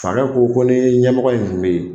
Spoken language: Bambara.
Fakɛ ko ko ni ɲɛmɔgɔ in tun bɛ yen